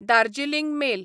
Darjeeling mail